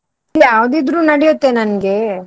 ಯಾವ್ದಿದ್ರೂ ನಡಿಯುತ್ತೆ ನನ್ಗೆ.